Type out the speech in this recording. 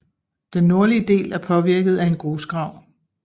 Den nordlige del er påvirket af en grusgrav